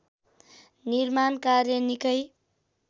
निर्माण कार्य निकै